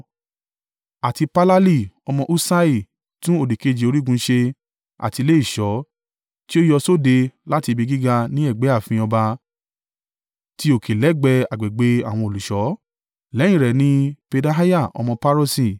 àti Palali ọmọ Usai tún òdìkejì orígun ṣe àti ilé ìṣọ́ tí ó yọ sóde láti ibi gíga ní ẹ̀gbẹ́ ààfin ọba ti òkè lẹ́gbẹ̀ẹ́ agbègbè àwọn olùṣọ́. Lẹ́yìn rẹ̀ ni, Pedaiah ọmọ Paroṣi